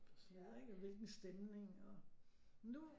Sådan noget ikke hvilken stemning nu